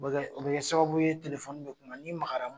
Sababu ye bɛ bɛ kuma ni magara